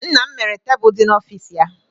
Nna m mere tebụl dị n'ọfịs ya.